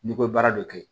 N'i ko baara dɔ kɛ